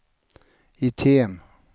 item